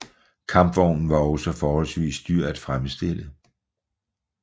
Kampvognen var også forholdsvis dyr at fremstille